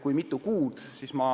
Kui mitu kuud see peaks olema?